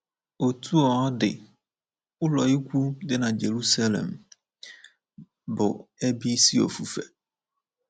Otú ọ ọ dị, ụlọukwu dị na Jerusalem bụ ebe isi ofufe.